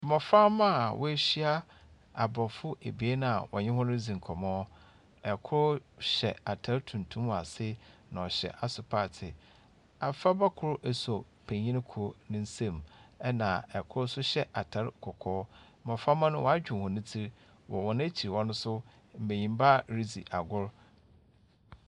Mmɔframba a woehyia aborɔfo ebien a ɔne hɔn redzi nkɔmbɔ. Kor hyɛ atar tuntum wɔ ase, na ɔhyɛ asopaatee. Afraba kor asɔ penyin kor nsam, ɛnna kor nso hyɛ atar kɔkɔɔ. Mbɔframba no wɔadwow hɔn tsir, hɔn ekyir hɔ no nso, mbenyimba ridzi agor.